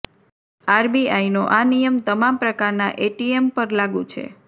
આરબીઆઇનો આ નિયમ તમામ પ્રકારના એટીએમ પર લાગૂ છે